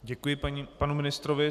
Děkuji panu ministrovi.